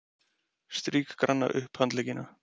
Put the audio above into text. Strýk granna upphandleggina.